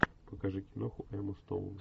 покажи киноху эмма стоун